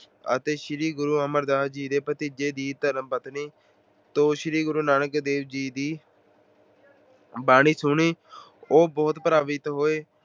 ਅਤੇ ਸ਼੍ਰੀ ਗੁਰੂ ਅਮਰਦਾਸ ਜੀ ਦੇ ਭਤੀਜੇ ਦੀ ਧਰਮ ਪਤਨੀ ਤੋਂ ਸ਼੍ਰੀ ਗੁਰੂ ਨਾਨਕ ਦੇਵ ਜੀ ਦੀ ਬਾਣੀ ਸੁਣੀ। ਉਹ ਬਹੁਤ ਪ੍ਰਭਾਵਿਤ ਹੋਏ।